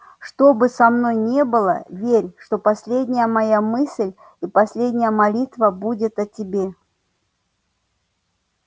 что бы со мною ни было верь что последняя моя мысль и последняя молитва будет о тебе